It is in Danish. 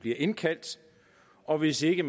bliver indkaldt og hvis ikke